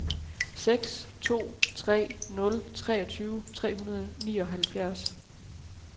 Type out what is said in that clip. seks to tre nul treogtyve tre hundrede og nioghalvfjerds